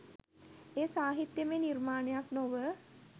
එය සාහිත්‍යමය නිර්මාණයක් නොව